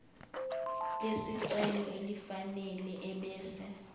lesicelo elifanele ebese